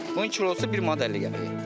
Bunun kilosu bir manat 50 qəpiyə.